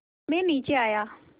मैं नीचे आया